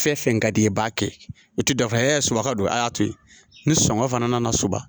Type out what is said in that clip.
Fɛn fɛn ka d'i ye i b'a kɛ u tɛ dan fɔ suman don a y'a to yen ni sɔngɔ fana nana soba